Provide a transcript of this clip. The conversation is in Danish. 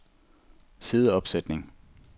sideopsætning